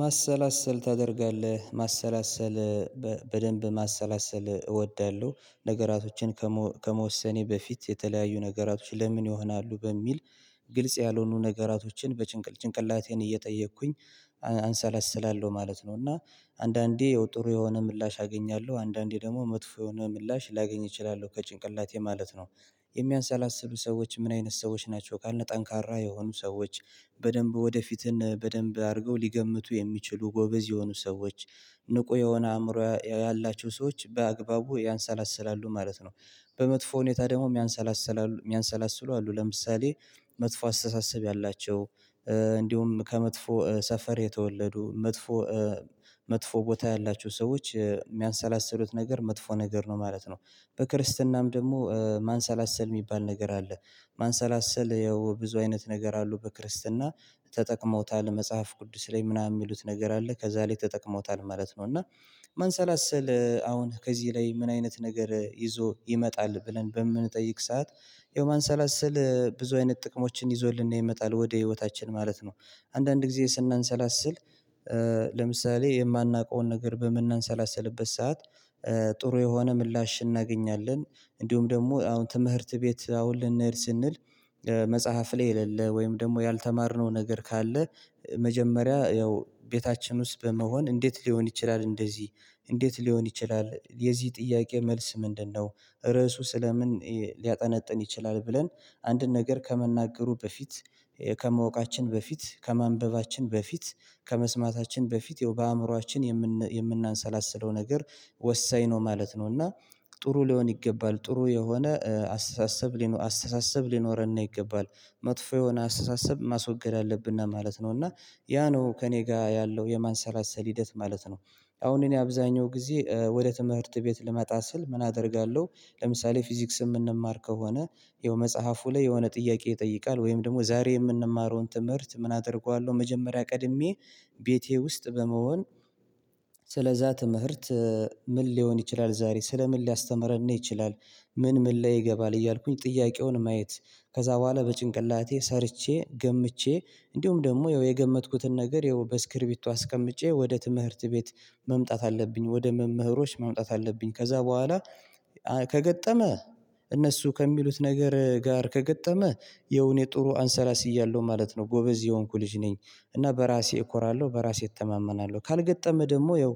ማሰላሰል ታደርጋለህ ማሰላሰል በደንብ ማሰላሰል እወዳለሁ ነገራቶችን ከመወሰኔ በፊት የተለያዩ ነገራቶች ለምን ይሆናሉ በሚል ግልጽ ያልሆኑ ነገራቶችን በጭንቅል ጭንቅላቴን እየጠየኩኝ አሰለስላለሁ ማለት ነው። እና አንዳንዴ የው ጥሩ የሆነ ምላሽ አገኛለሁ አንዳንዴ ደግሞ መጥፎ የሆነ ምላሽ ላገኝ እችላለሁ ከጭንቅላቴ ማለት ነው። የሚያሳላስሉ ሰዎች ምን አይነት ሰዎች ናቸው ካልን ጠንካራ የሆኑ ሰዎች በደንብ ወደፊትን በደንብ አድርገው ሊገምቱ የሚችሉ ጎበዝ የሆኑ ሰዎች ንቁ የሆነ አእምሮ ያላቸው ሰዎች በአግባቡ ያሰላስላሉ ማለት ነው። በመጥፎ ሁኔታ ደግሞ ምያንሰላስ የሚያሰላስሉ አሉ ለምሳሌ መጥፎ አስተሳሰብ ያላቸው እንዲሁም ከመጥፎ ሰፈር የተወለዱ መጥፎ መጥፎ ቦታ ያላችሁ ሰዎች የሚያሰላስሉት ነገር መጥፎ ነገር ነው ማለት ነው። በክርስትናም ደግሞ ማሰላሰል የሚባል ነገር አለ። ማሰላሰል ያው ብዙ አይነት ነገር አሉ በክርስትና ተጠቅመውታል መጽሐፍ ቅዱስ ላይ ምናምን የሚሉት ነገር አለ ከዛ ላይ ተጠቅሞታል ማለት ነው። እና መሰላሰል አሁን ከዚህ ላይ ምን አይነት ነገር ይዞ ይመጣል ብለን በምንጠይቅ ሰዓት ያው ማሰላሰል ብዙ አይነት ጥቅሞችን ይዞልን ይመጣል ወደ ህይወታችን ማለት ነው። አንዳንድ ጊዜ ስናሰላስል ለምሳሌ የማናውቀውን ነገር በምናሰላስልበት ሰዓት ጥሩ የሆነ ምላሽ እናገኛለን። እንዲሁም ደግሞ አሁን ትምህርት ቤት አሁን ልንሄድ ስንል መጽሐፍ ላይ የሌለ ወይም ደግሞ ያልተማርነው ነገር ካለ መጀመሪያ ያው ቤታችን ውስጥ በመሆን እንዴት ሊሆን ይችላል እንደዚህ እንዴት ሊሆን ይችላል የዚህ ጥያቄ መልስ ምንድነው? ርዕሱ ስለምን ሊያጠነጥን ይችላል ብለን አንድን ነገር ከመናገሩ በፊት ከማወቃችን በፊት ከማንበባችን በፊት ከመስማታችን በፊት በአእምሮአችን የምናሰላስለው ነገር ወሳኝ ነው ማለት ነው። እና ጥሩ ሊሆን ይገባል ጥሩ የሆነ አስተሳሰብ ሊኖር አስተሳሰብ ሊኖርን ይገባል። መጥፎ የሆነ አሰሳሰብ ማስወገድ አለብንና ማለት ነው እና ያ ነው ከእኔ ጋር ያለው የማሰራሰል ሂደት ማለት ነው። አሁን እኔ አብዛኛው ጊዜ ወደ ትምህርት ቤት ልመጣ ስል ምን አደርጋለሁ? ለምሳሌ ፊዚክስ የምንማር ከሆነ ይኸው መጽሐፉ ላይ የሆነ ጥያቄ ይጠይቃል ወይም ደግሞ ዛሬ የምንማረውን ትምህርት ምን አደርገዋለሁ መጀመሪያ ቀድሜ ቤቴ ውስጥ በመሆን ስለዛ ትምህርት ምን ሊሆን ይችላል ዛሬ ስለምን ሊያስተምረን ይችላል? ምን ምን ላይ ይገባል እያልኩኝ ጥያቄውን ማየት ከዛ በኋላ በጭንቅላቴ ሰርቼ ገምቼ እንዲሁም ደግሞ የገመትኩትን ነገር በስክሪቢቱ አስቀምጬ ወደ ትምህርት ቤት መምጣት አለብኝ ወደ መምህሮች መምጣት አለብኝ ከዛ በኋላ ከገጠመ እነሱ ከሚሉት ነገር ጋር ከገጠመ የውኔ ጥሩ አሰላስያለሁ ማለት ነው ጎበዝ የሆንኩ ልጅ ነኝ። እና በራሴ እኮራለሁ በራሴ እተማመናለሁ ካልገጠመ ደግሞ ይኸው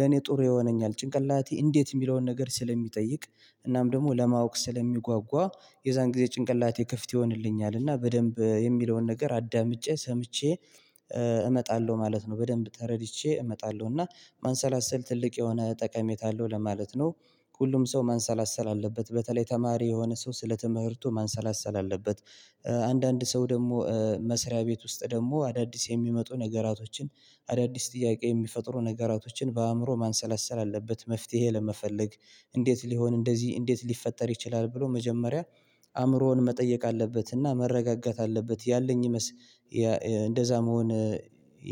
ለኔ ጥሩ ይሆነኛል ጭንቅላቴ እንዴት የሚለውን ነገር ስለሚጠይቅ እናም ደግሞ ለማወቅ ስለሚጓጓ የዛን ጊዜ ጭንቅላቴ ክፍት ይሆንልኛል እና በደንብ የሚለውን ነገር አዳምጬ ሰምቼ እመጣለሁ ማለት ነው። በደንብ ተረድቼ እመጣለሁ እና ማሰላሰል ትልቅ የሆነ ጠቀሜታ አለው ለማለት ነው። ሁሉም ሰው ማሰላሰል አለበት በተለይ ተማሪ የሆነ ሰው ስለትምህርቱን ማንሰላሰል አለበት። አንዳንድ ሰው ደግሞ መስሪያ ቤት ውስጥ ደግሞ አዳዲስ የሚመጡ ነገራቶችን አዳዲስ ጥያቄ የሚፈጥሩ ነገራቶችን በአእምሮ ማሰላሰል አለበት መፍትሄ ለመፈለግ እንዴት ሊሆን እንደዚህ እንዴት ሊፈጠር ይችላል ብሎ መጀመሪያ አእምሮን መጠየቅ አለበትና መረጋጋት አለበት ያለኝ እንደዛ መሆን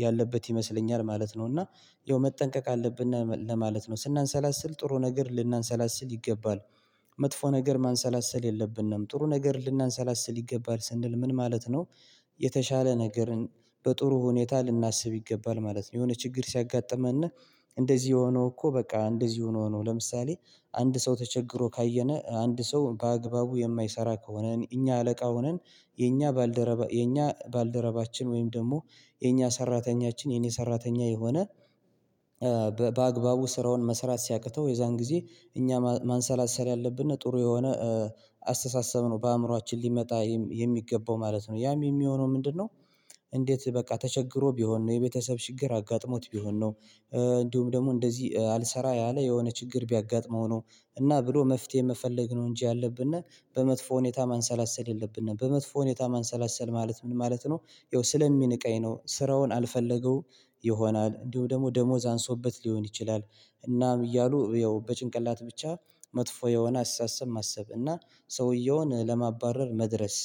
ያለበት ይመስለኛል ማለት ነው። እና ያው መጠንቀቅ አለብን ለማለት ነው ስናሰላስል ጥሩ ነገር ልናሰላስል ይገባል። መጥፎ ነገር ማሰላሰል የለብንም ጥሩ ነገር ልናሰላስል ይገባል ስንል ምን ማለት ነው? የተሻለ ነገርን በጥሩ ሁኔታ ልናስብ ይገባል ማለት ነው። የሆነ ችግር ሲያጋጥመን እና እንደዚህ ሆኖ እኮ በቃ እንደዚህ ሆኖ ሆኖ ለምሳሌ አንድ ሰው ተቸግሮ ካየነ አንድ ሰው በአግባቡ የማይሰራ ከሆነን እኛ አለቃ ሆነን የኛ ባልደረባ የኛ ባልደረባችን ወይም ደግሞ የኛ ሰራተኛችን የኔ ሰራተኛ የሆነ በአግባቡ ስራውን መስራት ሲያቅተው የዛን ጊዜ እኛ ማንሰላሰል ያለብን ጥሩ የሆነ አስተሳሰብ ነው በአእምሮአችን ሊመጣ የሚገባው ማለት ነው። ያም የሚሆነው ምንድነው? እንዴት በቃ ተቸግሮ ቢሆን ነው የቤተሰብ ችግር አጋጥሞት ቢሆን ነው እንዲሁም ደግሞ እንደዚህ አልሰራ ያለ የሆነ ችግር ቢያጋጥመው ነው። እና ብሎ መፍትሄ ፈልግ ነው እንጂ ያለብን እና በመጥፎ ሁኔታ ማንሰላሰል የለብንም በመጥፎ ሁኔታ ማንሰላሰል ማለት ምን ማለት ነው? ያው ስለሚንቀኝ ነው ስራውን አልፈለገው ይሆናል እንዲሁ ደግሞ ደሞዝ አንሶበት ሊሆን ይችላል። እናም እያሉ ያው በጭንቅላት ብቻ መጥፎ የሆነ አስተሳሰብ ማሰብ እና ሰውየውን ለማባረር መድረስ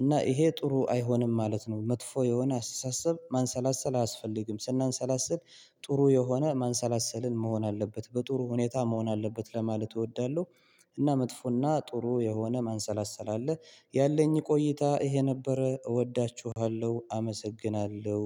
እና ይሄ ጥሩ አይሆንም ማለት ነው። መጥፎ የሆነ አስተሳሰብ ማሰላሰል አያስፈልግም ስናሰላስል ጥሩ የሆነ ማሰላሰልን መሆን አለበት በጥሩ ሁኔታ መሆን አለበት ለማለት እወዳለሁ። እና መጥፎና ጥሩ የሆነ ማሰላሰል አለ ቆይታ ይሄ ነበረ እወዳችኋለሁ አመሰግናለሁ።